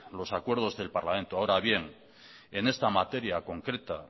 los acuerdos del parlamento ahora bien en esta materia concreta